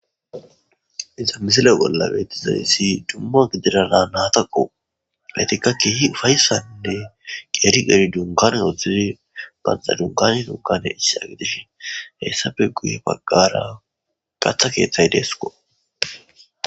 Iza misile bolla beetizayyssi dumma gidirana nataqo betikka kiyi ufayssaninne qeeri geri dunkane oththizi banxa dunkani dunkane issi agidishi heyssafe guye baggara gatha keeththay deesko.